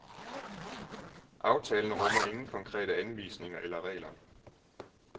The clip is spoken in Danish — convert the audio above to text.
Aftalen rummer ingen konkrete anvisninger eller regler.